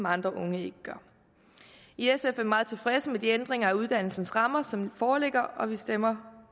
andre unge ikke gør i sf er vi meget tilfredse med de ændringer af uddannelsens rammer som foreligger og vi stemmer